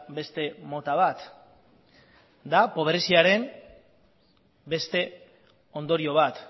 beste mota bat da pobreziaren beste ondorio bat